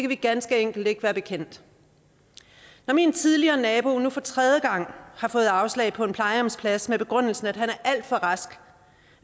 vi ganske enkelt ikke være bekendt når min tidligere nabo nu for tredje gang har fået afslag på en plejehjemsplads med begrundelsen at han er alt for rask